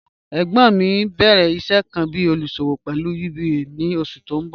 Ẹgbon mi n bẹ̀rẹ̀ iṣẹ̀ kan bí olúṣọ̀wọ̀ pẹ̀lú UBA ni oṣù tí n bọ̀.